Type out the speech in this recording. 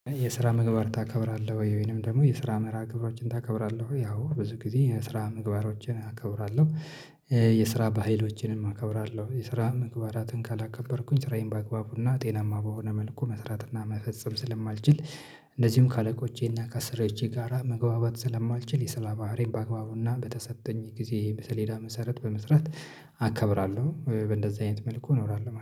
የስራ ምግባር ታከብራለህ ወይንም ደግሞ የስራ መርሃ ግብሮችን ታከብራለህ ወይ? አዎ ብዙ ጊዜ የስራ ምግባሮችን አከብራለሁ የስራ ባህሎችንም አከብራለሁ የስራ ምግባራትን ካላከበርኩኝ ስራዬን በአግባቡና ጤናማ በሆነ መልኩ መስራት እና መፈጸም ስለማልችል። እንደዚሁም ከአለቆቼና ከአሰሪዎቼ ጋራ መግባባት ስለማልችል የስራ ባህሪን በአግባቡና በተሰጠኝ ጊዜ በሰሌዳ መሰረት በመስራት አከብራለሁ በእንደዚህ አይነት መልኩ እኖራለሁ